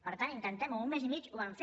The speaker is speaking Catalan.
per tant intentem ho en un mes i mig ho van fer